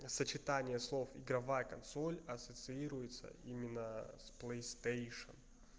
сочетание слов игровая консоль ассоциируется именно с плейстейшен